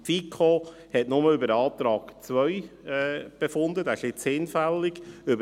Die FiKo hat nur über den Antrag 2 befunden, der jetzt hinfällig ist.